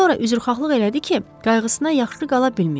Sonra üzrxaqlıq elədi ki, qayğısına yaxşı qala bilməyib.